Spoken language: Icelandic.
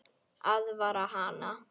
Aðvarar hana.